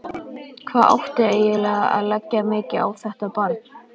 Hvað átti eiginlega að leggja mikið á þetta barn?